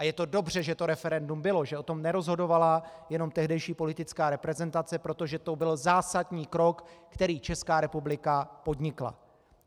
A je to dobře, že to referendum bylo, že o tom nerozhodovala jenom tehdejší politická reprezentace, protože to byl zásadní krok, který Česká republika podnikla.